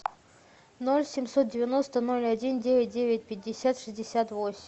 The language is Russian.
ноль семьсот девяносто ноль один девять девять пятьдесят шестьдесят восемь